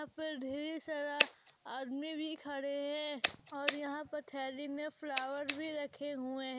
ढेर सारा आदमी भी खड़े हैं और यहां पर थैली में फ्लावर भी रखे हुए हैं।